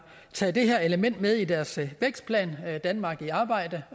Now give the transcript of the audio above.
taget det her element med i deres vækstplan danmark i arbejde